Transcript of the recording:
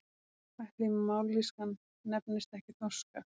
Ætli mállýskan nefnist ekki þorska?